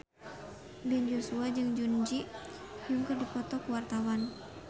Ben Joshua jeung Jun Ji Hyun keur dipoto ku wartawan